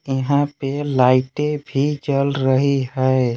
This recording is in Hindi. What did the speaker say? यहां पे लाइटें भी जल रही है।